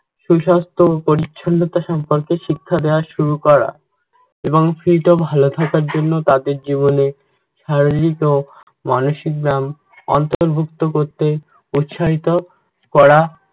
সুস্বাস্থ্য ও পরিচ্ছন্নতা সম্পর্কে শিক্ষা দেওয়া শুরু করা এবং সেইটা ভালো থাকার জন্য তাদের জীবনে শারীরিক ও মানসিক নাম অন্তর্ভুক্ত করতে উৎসাহিত করা